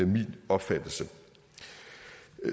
min opfattelse